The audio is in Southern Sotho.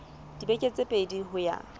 dibeke tse pedi ho ya